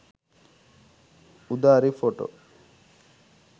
udari photo